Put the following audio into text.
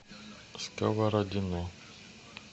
сковородино